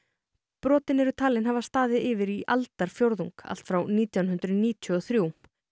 brotin eru talin hafa staðið yfir í aldarfjórðung allt frá nítján hundruð níutíu og þrjú